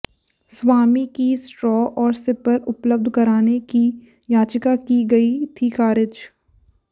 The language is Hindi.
स्वामी की स्ट्रॉ और सिपर उपलब्ध कराने की याचिका की गई थी खारिज